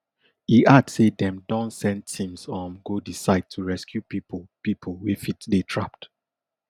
e add say dem don send teams um go di site to rescue pipo pipo wey fit dey trapped